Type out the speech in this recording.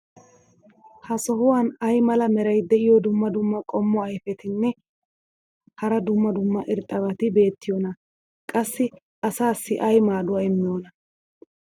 ha sohuwan ay mala meray diyo dumma dumma qommo ayfetinne hara dumma dumma irxxabati beetiyoonaa? qassi asaassi ay maaduwa immiyoonaa?